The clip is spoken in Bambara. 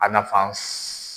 A nafa .